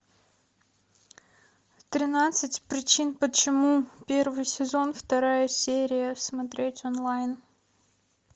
тринадцать причин почему первый сезон вторая серия смотреть онлайн